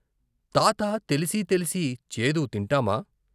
తాతా తెలిసి తెలిసి చేదు తింటామా?